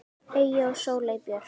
Eyja og Sóley Björk.